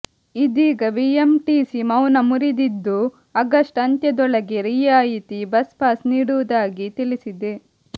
ಇದೀಗ ಬಿಎಂಟಿಸಿ ಮೌನ ಮುರಿದಿದ್ದು ಆಗಸ್ಟ್ ಅಂತ್ಯದೊಳಗೆ ರಿಯಾಯಿತಿ ಬಸ್ಪಾಸ್ ನೀಡುವುದಾಗಿ ತಿಳಿಸಿದೆ